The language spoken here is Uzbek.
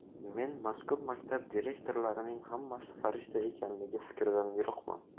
Men mazkur maktab direktorlarining hammasi farishta ekanligi fikridan yiroqman.